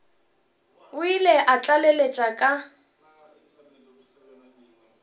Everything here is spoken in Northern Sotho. o ile a tlaleletša ka